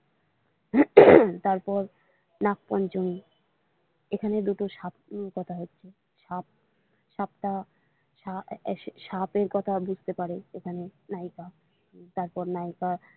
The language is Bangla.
উম তারপর নাগ পঞ্চমী এখানে দুটো সাপ কথা হচ্ছে সাপটা সাপের কথা বুঝতে পারে এখানে নায়িকা তারপর নায়িকা।